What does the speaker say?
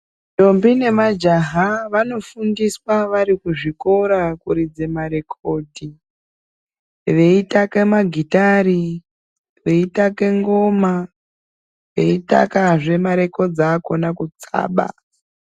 Ndombi nemajaha vanofundiswa vari kuzvikora kuridze marekondi veitaka magitari veitake ngoma veitakazve marekodzi akona kutsaba .